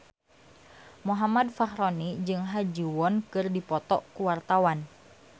Muhammad Fachroni jeung Ha Ji Won keur dipoto ku wartawan